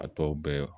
A tɔ bɛɛ